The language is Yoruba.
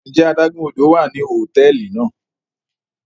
Njẹ àdàgun ódò wa ni hotẹẹli náa?